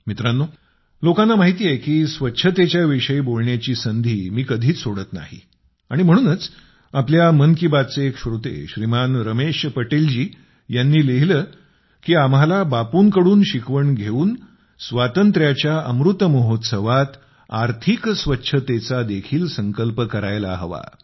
मित्रांनो लोकांना माहिती आहे की स्वच्छतेच्या विषयी बोलण्याची संधी मी कधीच सोडत नाही आणि म्हणूनच आपल्या मन की बात चे एक श्रोते श्रीमान रमेश पटेलजी यांनी लिहिले की आम्हाला बापूंकडून शिकवण घेऊन स्वातंत्र्याच्या अमृत महोत्सवात आर्थिक स्वच्छतेचा देखील संकल्प करायला हवा